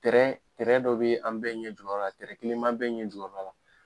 dɔ bɛ an bɛɛ ɲɛ jukɔrɔla la kelen b'an bɛɛ ɲɛ jukɔrɔla la.